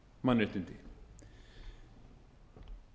mannréttindi hið ánægjulega er að í